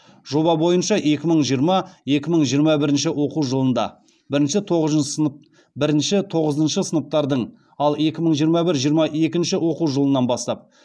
жоба бойынша екі мың жиырма екі мың жиырма бірінші оқу жылында бірінші тоғызыншы сыныптардың ал екі мың жиырма бір жиырма екінші оқу жылынан бастап